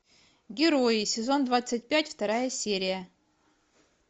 герои сезон двадцать пять вторая серия